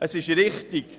Richtig ist,